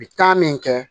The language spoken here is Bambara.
Bi taa min kɛ